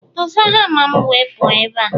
Doza hama m wee pụọ ebe a!